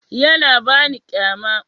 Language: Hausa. Yana ba ni kyama.